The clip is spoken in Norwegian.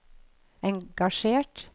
engasjert